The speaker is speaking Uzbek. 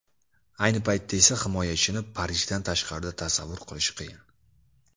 Ayni paytda esa himoyachini Parijdan tashqarida tasavvur qilish qiyin.